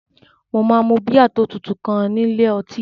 Mo máa mu bíà tó tutù kan ní ilé ọtí